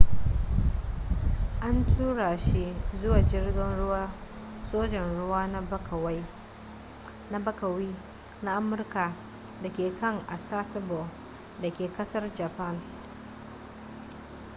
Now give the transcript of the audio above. an tura shi zuwa jirgin ruwan sojan ruwa na bakawi na amurka da ke can a sasebo da ke kasar japan